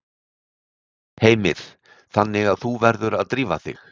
Heimir: Þannig að þú verður að drífa þig?